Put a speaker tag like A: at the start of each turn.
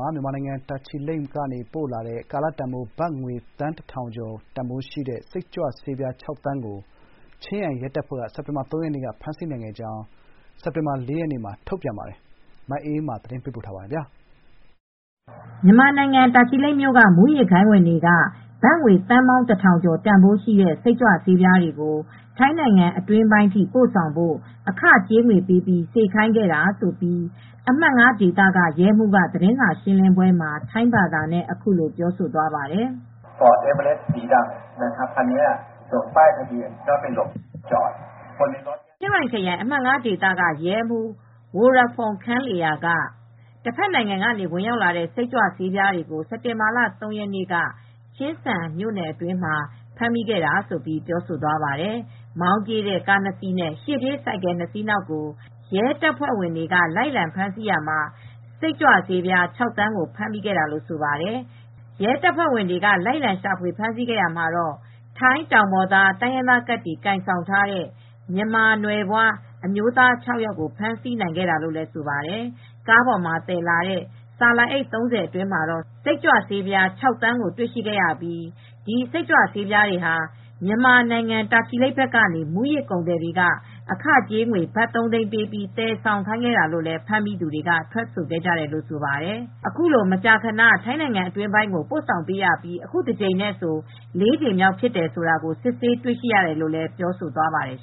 A: ှာ မြန်မာနိုင်ငံ တာချီလိတ်ကပို့လာတဲ့ ကာလတန်ဖိုးဘတ်ငွေ သန်း ၁,၀၀၀ ကျော် တန်ဖိုးရှိတဲ့စိတ်ကြွဆေး ပြား သန်းကို ချင်းရိုင်ရဲတပ်ဖွဲ့က စက်တင်ဘာလ ၃ ရက်နေ့က ဖမ်းဆီးနိုင်ခဲ့ကြောင်း ချင်းရိုင်ရဲတပ်ဖွဲ့က စက်တင်ဘာလ ၄ ရက်မှာ သတင်း ထုတ်ပြန်ခဲ့ပါတယ်။ ဒီသတင်းကိုဗွီအိုအေသတင်းထောက်မအေးအေးမာက သတင်းပေးပို့ထားပါတယ်။
B: မြန်မာနိုင်ငံ တာချီလိတ်မြို့က မူးယစ်ဂိုဏ်းဝင်တွေက ဘတ်ငွေသန်း ၁,၀၀၀ ကျော် တန်ဘိုးရှိတဲ့ စိတ်ကြွဆေးပြားတွေကို ထိုင်းနိုင်ငံအတွင်းပိုင်းအထိပို့ဆောင်ဖို့ အခကြေးငွေပေးပြီးစေခိုင်းခဲ့တာြဖစ်ကြောင်း ချင်းရိုင်ခရိုင် အမှတ် ဒေသ ရဲမှူး ဝိုရဖုန်း ခန်လေရာက Pol. Maj. Gen. Worapong Khamluea က သတင်းစာရှင်းလင်းပွဲမှာ ထိုင်းဘာသာနဲ့ အခုလိုပြောသွားပါတယ်။ “တဘက်နိုင်ငံကဝင်ရောက်လာတဲ့ စိတ်ကြွဆေးပြားတွေကို စက်တင်ဘာ ၃ ရက်နေ့က Chiang Saen District. အတွင်းမှာ ဖမ်းမိခဲ့ပါတယ်။ မောင်းပြေးတဲ့ကားနှစ်စီးနဲ့ ရှေ့ ပြေးဆိုင်ကယ်နှစ်စီးနောက်ကို ရဲတပ်ဖွဲ့ကလိုက်လံဖမ်းဆီးရာမှာ စိတ်ကြွဆေး ၆ သန်းကိုဖမ်းမိခဲ့တာ” လို့ဆိုပါတယ်။ ရဲတပ်ဖွဲ့တွေက ဆက်လက် လိုက်လံရှာဖွေဖမ်းဆီးခဲ့ရာမှာတော့ ထိုင်း တောင်ပေါ်တိုင်းရင်းသားကဒ် ကိုင်ဆောင်ထားတဲ့ မြန်မာနွယ်ဖွားအမျိုးသား ၆ ယောက်ကို ဖမ်းဆီးနိုင်ခဲ့တယ်လို့လည်း ဆိုပါတယ်။ ကားပေါ်က ဆာလာအိတ်ပေါင်း ၃၀ အတွင်းမှာ စိတ်ကြွဆေးပြား ၆ သန်းကို တွေ့ရှိခဲ့ရပြီး ဒီစိတ်ကြွေဆးတွေဟာမြန်မာနိုင်ငံ တာချီလိတ် ဘက်ကနေ မူးယစ်ကုန်သည်တွေက အခကြေးငွေ ဘတ် ၃ သိန်းပေးပြီး သယ်ဆောင်ခိုင်းခဲ့တာလို့ ဖမ်းမိသူတွေက ထွက်ဆိုခဲ့ပါတယ်။ ထိုင်းနိုင်ငံအတွင်းပိုင်းကိုပို့ဆောင်ပေးခဲ့တာဟာ အခုတကြိမ်နဲ့ဆို လေးကြိမ်မြောက်ဖြစ်ကြောင်းလည်း စစ်ဆေးတွေ့ရှိရတယ်လို့ ပြောသွားပါတယ်